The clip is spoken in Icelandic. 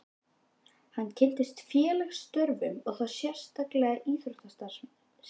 Hann kynntist félagsstörfum og þá sérstaklega íþróttastarfsemi.